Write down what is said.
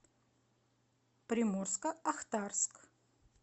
приморско ахтарск